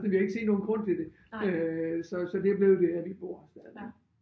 Men vi har ikke set nogen grund til det øh så så det er blevet der vi bor stadigvæk